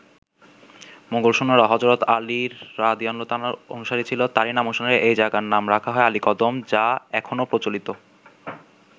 মোগল সৈন্যরা হজরত আলীর রা. অনুসারী ছিল, তারই নামানুসারে এ জায়গার নাম রাখা হয় আলীকদম, যা এখনো প্রচলিত।